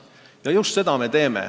Ja just seda me teeme.